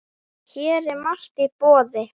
Hér er margt í boði.